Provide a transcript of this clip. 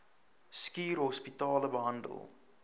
schuur hospitale behandel